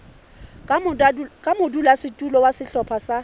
ka modulasetulo wa sehlopha sa